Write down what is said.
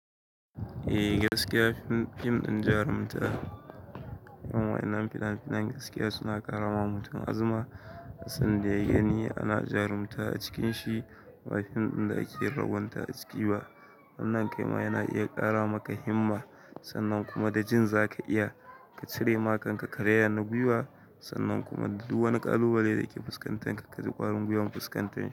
Eh, gaskiya. Fim ɗin jarumta, irin wa'yannan fina finan gaskiya suna karama mutum azuma. Duk sanda ya gani ana jarumta a cikin shi ba fim ɗin da ake ragwonta a ciki ba. Wannan ƙaima yana iya ƙara maka himma sannan kuma da jin zaka iya ka cire makanka kareya na gwiwa sannan kuma duk wani ƙalubale da ke fuskantanka ka ji ƙwarin gwiwar fuskantan shi.